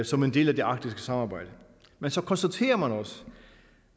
som en del af det arktiske samarbejde men så konstaterer man også